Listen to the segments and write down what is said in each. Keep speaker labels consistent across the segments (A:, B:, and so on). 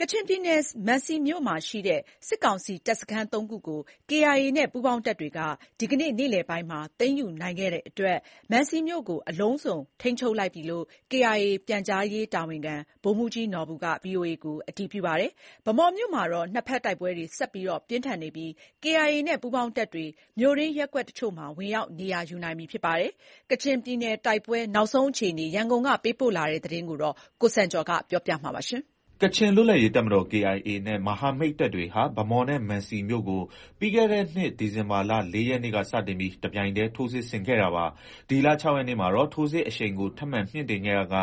A: ကချင်ပြည်နယ် မံစီမြို့ရှိ စစ်ကောင်စီတပ်စခန်းသုံးခုကို KIA နဲ့ ပူးပေါင်းတပ်တွေက ဒီနေ့ နေ့လယ်ပိုင်းမှာသိမ်းယူနိုင်ခဲ့တာကြောင့် မံစီမြို့ကိုအလုံးစုံထိန်းချုပ်လိုက်ပြီလို့ KIA ပြန်ကြားရေးတာဝန်ခံ ဗိုလ်မှူးကြီးနော်ဘူက VOA ကို အတည်ပြုပါတယ်။ ဗန်းမော်မြို့မှာ တော့ တိုက်ပွဲတွေဆက်လက်ပြင်းထန်နေပြီး KIAနဲ့ ပူးပေါင်းတပ်တွေ မြို့တွင်းရပ်ကွက် အချို့မှာ ဝင်ရောက်နေရာယူနေနိုင်ပြီဖြစ်ပါတယ်။ ကချင်ပြည်နယ် တိုက်ပွဲနောက်ဆုံး အခြေအနေကို ရန်ကုန်ကသတင်းပေးပို့ထားပါတယ်။
B: ကချင်လွတ်လပ်ရေးတပ်မတော် KIA နဲ့ မဟာမိတ်တပ်တွေဟာ ဗန်းမော်နဲ့ မံစီမြို့ကို ပြီးခဲ့တဲ့နှစ် ဒီဇင်ဘာလ ၄ ရက်နေ့က စတင်ပြီး တပြိုင်တည်း ထိုးစစ်ဆင်ခဲ့တာပါ။ ဒီလ ၆ ရက်နေ့မှာတော့ ထိုးစစ်အရှိန်ကို ထပ်မံ မြှင့်တင်ခဲ့ရာက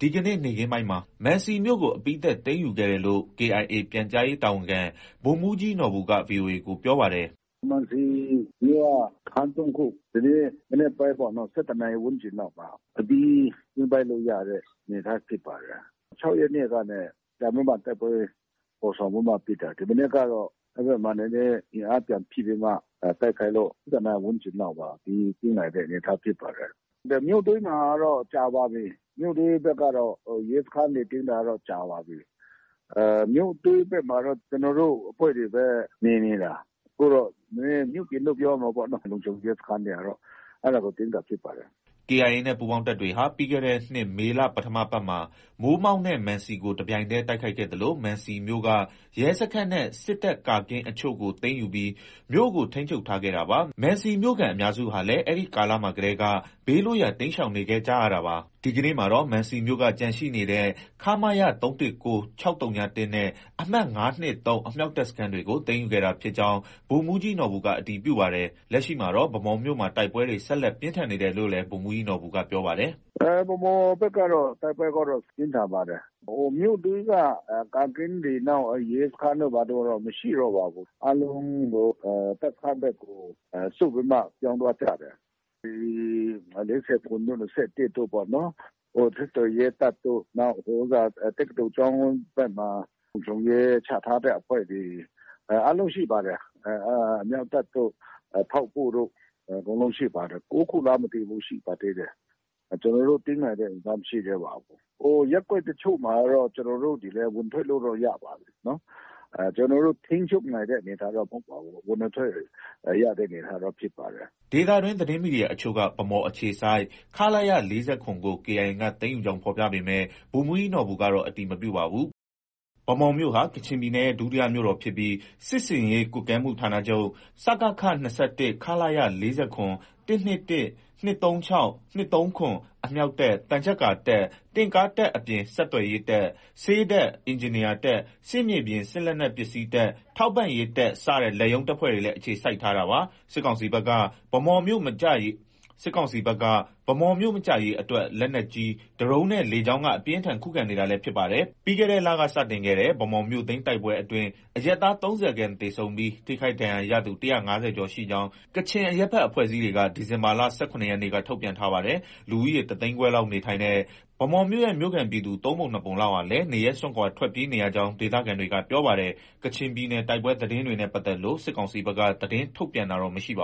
B: ဒီနေ့ နေ့ခင်းပိုင်းမှာ မံစီမြို့ကို အပြီးသတ်သိမ်းယူခဲ့တယ်လို့ KIAပြန်ကြားရေးတာဝန်ခံ ဗိုလ်မှူးကြီးနော်ဘူက VOA ကို ပြောပါတယ်
C: ။ “မံစီမြို့က စခန်းသုံးခု ဒီနေ့ မနက်ပိုင်းပေါ့နော်။ ၁၁ နာရီဝန်းကျင်လောက်မှာ အပြီး သိမ်း ပိုက်လို့ ရတဲ့အနေအထားဖြစ်ပါတယ်။ ၆ ရက်နေ့ကနေ ပြန်ပြီးမှ တိုက်ပွဲဖော်ဆောင်ပြီးမှ ဖြစ်တာ။ ဒီမနက်ကတော့ အဲဘက်မှာ နည်းနည်း အင်အားပြန်ဖြည့်ပြီးမှ တိုက်ခိုက်လို့ ၁၁ နာရီ ဝန်းကျင်လောက်မှာ အပြီးသိမ်းနိုင်တဲ့အနေအထားဖြစ်ပါတယ်။ မြို့သိမ်းတာကတော့ ကြာပါပြီ။ မြို့တွင်းဘက်ကတော့ ရဲစခန်းတွေ သိမ်းတာကတော့ ကြာပါပြီ။ မြို့တွင်းဘက်မှာ တော့ ကျနော်တို့အဖွဲ့တွေပဲ နေ,နေတာ။ အခုတော့ မြို့ပြင်လို့ ပြောရမှာပေါ့နော။ လုံခြုံရေး စခန်းတွေကတော့ အဲဒါကို သိမ်းတာဖြစ်ပါတယ်။”
B: KIA နဲ့ ပူးပေါင်းတပ်တွေဟာ ပြီးခဲ့တဲ့နှစ် မေလ-ပထမပတ်မှာ မိုးမောက်နဲ့မံစီကို တပြိုင်တည်းတိုက်ခိုက်ခဲ့သလို မံစီမြို့က ရဲစခန်းနဲ့ စစ်တပ်ကာကင်းအချို့ကို သိမ်းယူပြီး မြို့ကို ထိန်းချုပ်ထားခဲ့တာပါ။ မံစီမြို့ခံအများစုဟာလည်း အဲဒီကာလမှာကတည်းက ဘေးလွတ်ရာ တိမ်းရှောင်နေခဲ့ကြရတာပါ။ ဒီကနေ့မှာတော့ မံစီမြို့က ကျန်ရှိနေတဲ့ ခမရ ၃၁၉၊ ၆၀၁ နဲ့ အမှတ် ၅၂၃ အမြောက်တပ် စခန်းတွေကို သိမ်းယူခဲ့တာဖြစ်ကြောင်း ဗိုလ်မှူးကြီးနော်ဘူက အတည်ပြုပါတယ်။ လက်ရှိ မှာတော့ ဗန်းမော်မြို့မှာ တိုက်ပွဲတွေ ဆက်လက် ပြင်းထန်နေတယ်လို့လည်း ဗိုလ်မှူးးကြီး နော်ဘူက ပြောပါတယ်
C: ။ “ဗန်းမော်ဘက်ကတော့ တိုက်ပွဲကတော့ပြင်းထန်ပါတယ်။ မြို့တွင်းက ကာကင်းတွေ၊ နောက် ရဲစခန်းတို့ ဘာတို့ကတော့ မရှိတော့ပါဘူး။ အားလုံးတပ်စခန်းဘက်ကို ဆုတ်ပြီးမှ ပြောင်းသွားကြတယ်။ ၄၇ တို့၊ ၂၁ တို့ ပေါ့နော်။ ဆက်သွယ်ရေးတပ်တို့၊ တက္ကသိုလ် ကျောင်းဘက်မှာ လုံခြုံရေးချထားတဲ့အဖွဲ့တွေ အားလုံးရှိပါတယ်။ အမြောက်တပ်တို့၊ ထောက်ပို့တို့ အကုန်လုံးရှိပါတယ်။ ၉ ခုလားမသိဘူး ရှိပါသေးတယ်။ ကျနော်တို့ သိမ်းနိုင်တဲ့ အနေအထားမရှိသေးပါဘူး။ ရပ်ကွက်တချို့မှာတော့ ကျနော်တို့တွေလည်း ဝင်ထွက်လို့တော့ ရပါပြီ။ ကျနော်တို့ ထိန်းချုပ်နိုင်တဲ့အနေအထားတော့ မဟုတ်ပါဘူး။ ဝင်ထွက်ရတဲ့ အနေအထားတော့ ဖြစ်ပါတယ်။
B: ” ဒေသတွင်းသတင်းမီဒီယာအချို့က ဗန်းမော်အခြေစိုက် ခလရ ၄၇ ကို KIA က သိမ်းယူ ကြောင်းဖော်ပြပေမဲ့ ဗိုလ်မှူးကြီးနော်ဘူကတော့ အတည်မပြုပါဘူး။ ဗန်းမော်မြို့ဟာ ကချင်ပြည်နယ်ရဲ့ ဒုတိယမြို့တော်ဖြစ်ပြီး စစ်ဆင်ရေးကွပ်ကဲမှုဌာနချုပ် (စကခ) ၂၁၊ ခလရ ၄၇၊ ၁၂၁၊ ၂၃၆၊ ၂၃၇၊ အမြောက်တပ်၊ သံချပ်ကာတပ်၊ တင့်ကားတပ်အပြင် ဆက်သွယ်ရေးတပ်၊ ဆေးတပ်၊ အင်ဂျင်နီယာတပ်၊ စစ်မြေပြင်စစ်လက်နက်ပစ္စည်းတပ်၊ ထောက်ပံ့ရေး တပ်စတဲ့ လက်ရုံးတပ်ဖွဲ့တွေလည်း အခြေစိုက်ထားတာပါ။ စစ်ကောင်စီဘက်က ဗန်းမော်မြို့ မကျရေးအတွက် လက်နက်ကြီ၊ ဒရုန်းနဲ့ လေကြောင်းက အပြင်းအထန် ခုခံနေတာလည်း ဖြစ်ပါတယ်။ ပြီးခဲ့တဲ့လက စတင်ခဲ့တဲ့ ဗန်းမော်မြို့သိမ်း တိုက်ပွဲအတွင်း အရပ်သား ၃၀ ခန့်သေဆုံးပြီး ထိခိုက်ဒဏ်ရာရသူ ၁၅၀ ကျော်ရှိကြောင်း ကချင်အရပ်ဘက်အဖွဲ့အစည်းတွေက ဒီဇင်ဘာလ ၁၇ ရက်နေ့က ထုတ်ပြန်ထားပါတယ်။ လူဦးရေ တသိန်းခွဲလောက် နေထိုင်တဲ့ ဗန်းမော်မြို့ရဲ့ မြို့ခံပြည်သူ သုံးပုံနှစ်ပုံလောက်လည်း နေရပ်စွန့်ခွာ ထွက်ပြေးနေရကြောင်း ဒေသခံတွေကပြောပါတယ်။ ကချင်ပြည်နယ် တိုက်ပွဲ သတင်းတွေနဲ့ ပတ်သက်လို့ စစ်ကောင်စီဘက်က သတင်းထုတ်ပြန်တာတော့ မရှိပါ